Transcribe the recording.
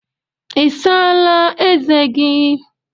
Ị saala ezé gị?